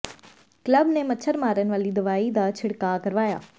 club ਨੇ ਮੱਛਰ ਮਾਰਨ ਵਾਲੀ ਦਵਾਈ ਦਾ ਛਿੜਕਾਅ ਕਰਵਾਇਆ